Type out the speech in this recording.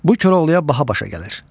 Bu Koroğluya baha başa gəlir.